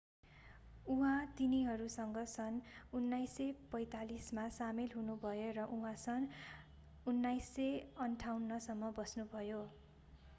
उहाँ तिनीहरूसँग सन् 1945 मा सामेल हुनुभयो र उहाँ सन् 1958 सम्म बस्नुभयो